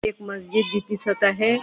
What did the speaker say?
एक मस्जित बी दिसत आहे.